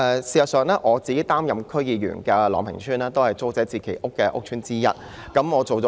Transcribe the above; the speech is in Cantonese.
事實上，我擔任區議員的朗屏邨亦是租置計劃的屋邨之一。